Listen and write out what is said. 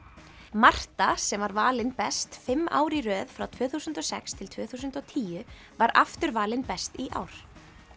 Marta sem var valin best fimm ár í röð frá tvö þúsund og sex til tvö þúsund og tíu var aftur valin best í ár